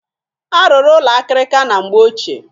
A rụrụ ụlọ akịrịka na mgbe ochie.